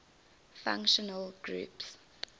functional groups